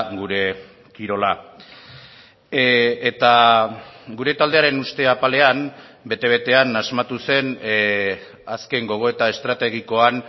gure kirola eta gure taldearen uste apalean bete betean asmatu zen azken gogoeta estrategikoan